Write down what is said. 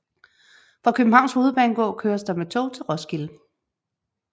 Fra Københavns Hovedbanegård køres der med tog til Roskilde